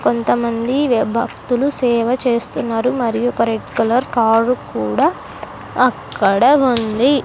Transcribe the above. కొంతమంది భక్తులు సేవ చేస్తున్నారు మరియు ఒక రెడ్ కలర్ కారు కూడా అక్కడ ఉంది.